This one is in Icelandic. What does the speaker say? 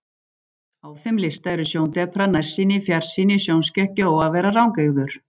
Á þeim lista eru sjóndepra, nærsýni, fjarsýni, sjónskekkja og að vera rangeygður.